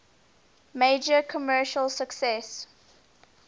major commercial success